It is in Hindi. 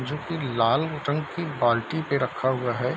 जो की लाल टंकी बाल्टी पे रखा हुआ है।